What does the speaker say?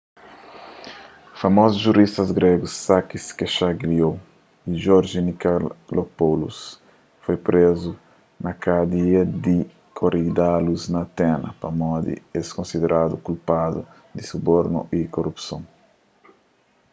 famozus juristas gregus sakis kechagioglou y george nikolakopoulos foi prezu na kadia di korydallus na atenas pamodi es konsideradu kulpadu di subornu y korupson